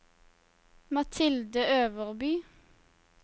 Mathilde Øverby